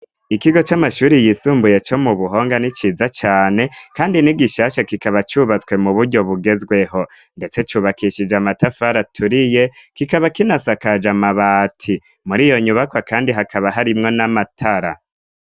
Ikigo c'amashuri yisumbuye co mu buhonga ni ciza cane, kandi ni gishashe kikaba cubatswe mu buryo bugezweho, ndetse cubakishije amatafa araturiye kikaba kinasakaje amabati muri iyo nyubakwa, kandi hakaba harimwo n'amatara.